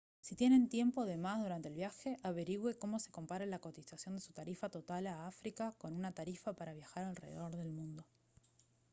si tienen tiempo de más durante el viaje averigüe cómo se compara la cotización de su tarifa total a áfrica con una tarifa para viajar alrededor del mundo